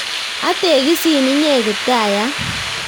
Ategisin inye kiptaiyat